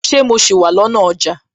Ṣé mo sì wà lọ́nà ọjà?